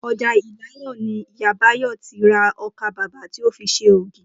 O̩jà Ìlaro ni Ìyá Báyò̩ ti ra o̩kàbabà tí ó fi s̩e ògì